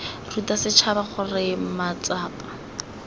ruta setšhaba gore mat sapa